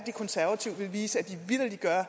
det er at